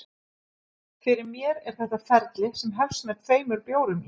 Fyrir mér er þetta ferli sem hefst með tveimur bjórum í